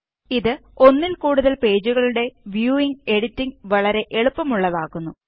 ഇത് ഒന്നില് കൂടുതല് പേജുകളുടെ വ്യൂവിംഗും എഡിറ്റിംഗും വളരെ എളുപ്പമുള്ളതാക്കുന്നു